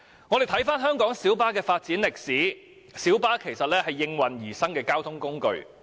我們看回香港小巴的發展歷史，其實小巴是應運而生的交通工具。